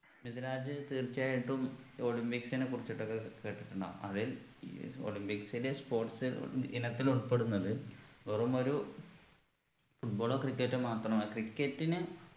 മിദിലാജ് തീർച്ചയായിട്ടും olympics നെക്കുറിച്ചിട്ടൊക്കെ കേട്ടിട്ടുണ്ടാകും അതിൽ ഈ olympics ലെ sports ഇനത്തിൽ ഉൾപ്പെടുന്നത് വെറുമൊരു football ഓ cricket ഓ മാത്രമ cricket ന്